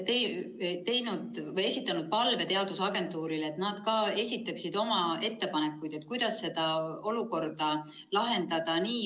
Jah, me oleme esitanud palve teadusagentuurile, et nad ka esitaksid oma ettepanekuid, kuidas seda olukorda lahendada.